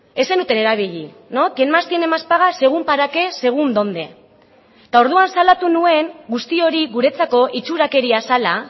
ez zenuten erabili quien más tiene más paga según para qué según donde eta orduan salatu nuen guzti hori guretzako itxurakeria zela